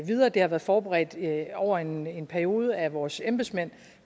videre det har været forberedt over en en periode af vores embedsmænd